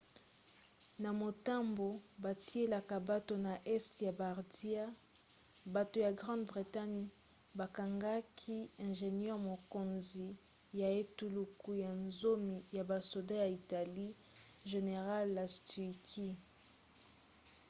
na motambo batielaka bato na este ya bardia bato ya grande bretagne bakangaki ingénieur mokonzi ya etuluku ya zomi ya basoda ya italie general lastucci